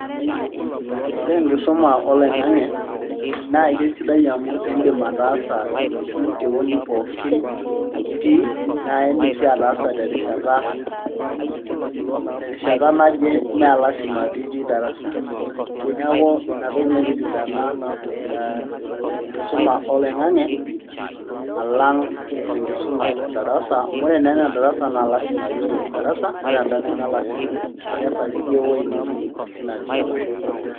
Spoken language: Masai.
ore enkisuma olong'ang'e naa kisidai oleng amu idim ataasa itii ewueji pookin nitii. naa idim sii ataasa terishata naje mme lasima pee itii darasa, neeku ina toki naitisidana ee enkisuma oloing'ange alang' enkuma edarsa, amu ore naa enkisuma edarasa lasima pee ilotu darasa ore eda neme lasima.